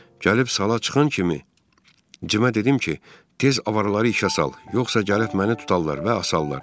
Gəlib sala çıxan kimi Cimə dedim ki, tez avaları işə sal, yoxsa gəlib məni tutarlar və asarlar.